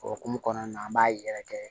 O hukumu kɔnɔna na an b'a yɛrɛkɛ